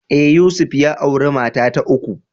Ee, Yusuf ya auri mata ta uku.